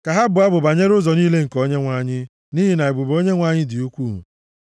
Ka ha bụọ abụ banyere ụzọ niile nke Onyenwe anyị, nʼihi na ebube Onyenwe anyị dị ukwuu.